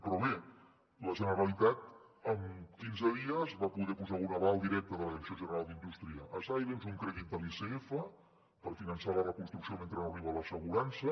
però bé la generalitat amb quinze dies va poder posar un aval directe de la direcció general d’indústria a silence un crèdit de l’icf per finançar la reconstrucció mentre no arriba l’assegurança